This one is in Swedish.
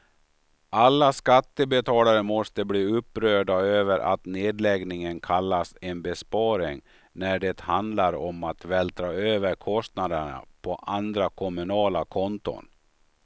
Alla skattebetalare måste bli upprörda över att nedläggningen kallas en besparing när det handlar om att vältra över kostnaderna på andra kommunala konton.